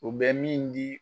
u bɛ min di